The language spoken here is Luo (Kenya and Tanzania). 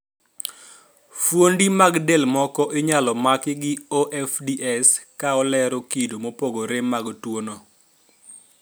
Fuondi mag del moko inyalo maki gi OFDS ka olero kido mopogore mag tuo no